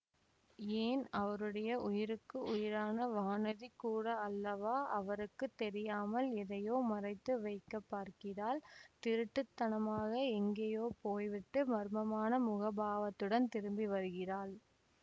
ஏன் அவருடைய உயிருக்கு உயிரான வானதிகூட அல்லவா அவருக்கு தெரியாமல் எதையோ மறைத்து வைக்க பார்க்கிறாள் திருட்டுத்தனமாக எங்கேயோ போய்விட்டு மர்மமான முகபாவத்துடன் திரும்பி வருகிறாள்